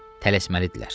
Tələsməlidirlər.